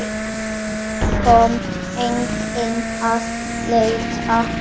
Kom enginn að leita?